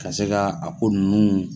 Ka se ka a ko nunnu